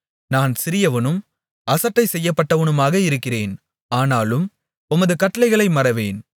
நான் சிறியவனும் அசட்டை செய்யப்பட்டவனுமாக இருக்கிறேன் ஆனாலும் உமது கட்டளைகளை மறவேன்